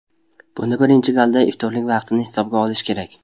Bunda birinchi galda iftorlik vaqtini hisobga olish kerak.